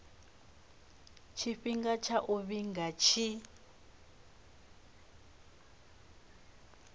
tshifhinga tsha u vhiga tshi